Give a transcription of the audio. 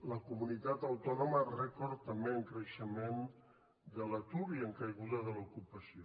la comunitat autònoma rècord també en creixement de l’atur i en caiguda de l’ocupació